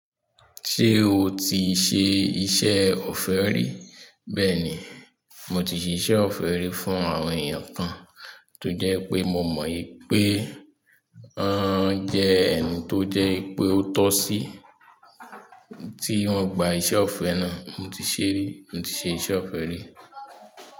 Ṣé o ti ṣe iṣẹ́ ọ̀fẹ́ rí? Bẹ́ẹ̀ ni, mo ti ṣe iṣẹ́ ọ̀fẹ́ rí fún àwọn èèyàn kan tó jẹ́ pé mo mọ̀ wípé wọ́n jẹ́ ẹni tó jẹ́ pé ó tọ́ sí tí wọ́n gba iṣẹ́ ọ̀fẹ́ náà. Mo ti ṣe rí, mo ti ṣe iṣẹ́ ọ̀fẹ́ rí.